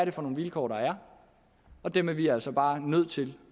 er for nogle vilkår der er og dem er vi altså bare nødt til